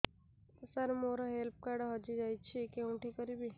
ସାର ମୋର health card ହଜି ଯାଇଛି କେଉଁଠି କରିବି